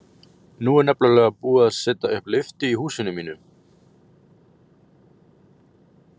Nú er nefnilega búið að setja upp lyftu í húsinu mínu.